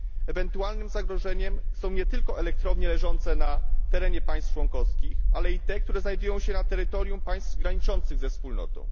Ewentualnym zagrożeniem są nie tylko elektrownie leżące na terenie państw członkowskich, ale i te, które znajdują się na terytorium państw graniczących ze Wspólnotą.